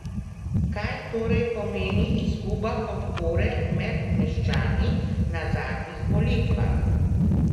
Kaj torej pomeni izguba podpore med meščani na zadnjih volitvah?